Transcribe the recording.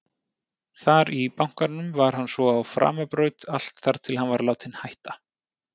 Þar í bankanum var hann svo á framabraut allt þar til hann var látinn hætta.